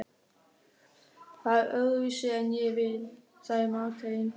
Það er öðruvísi en ég vil, sagði Marteinn.